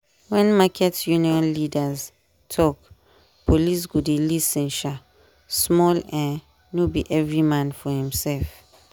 when market union leaders talk police go dey lis ten um small um no be every man for himself.